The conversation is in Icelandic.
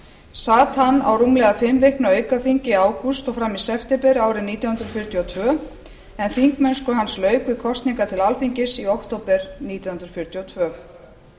sat hann á rúmlega fimm vikna aukaþingi í ágúst og fram í september árið nítján hundruð fjörutíu og tvö en þingmennsku hans lauk við kosningar til alþingis í október nítján hundruð fjörutíu og tvö